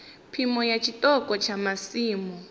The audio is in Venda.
phimo ya tshiṱoko tsha masimu